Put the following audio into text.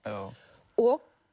og